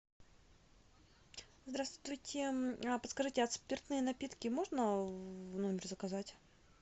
здравствуйте а подскажите а спиртные напитки можно в номер заказать